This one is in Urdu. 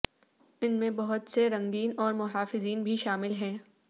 ان میں بہت سے رنگین اور محافظین بھی شامل ہیں